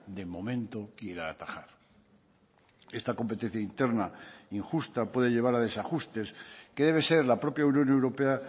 de momento quiera atajar esta competencia interna injusta puede llevar a desajustes que debe ser la propia unión europea